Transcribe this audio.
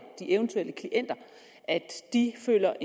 at de føler